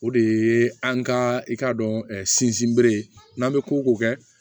O de ye an ka i k'a dɔn sinsinbere n'an bɛ ko ko kɛ